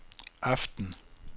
aften